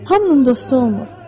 Hamının dostu olmur.